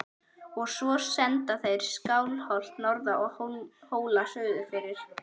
Og svo senda þeir Skálholt norður og Hóla suðurfyrir!